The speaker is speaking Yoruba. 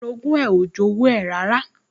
Orogún ẹ̀ ò jowú ẹ̀ rárá